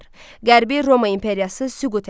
Qərbi Roma İmperiyası süqut elədi.